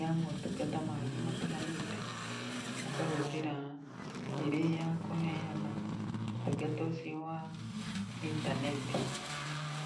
ya motungata mangĩ matiganĩte, ũkahũthĩra ĩrĩ ya kũheana ũtungata ũcio wa itaneti.